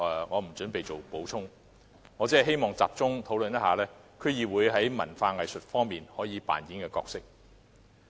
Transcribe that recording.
我不準備在此作補充，只希望集中討論區議會在文化藝術方面可以扮演的角色。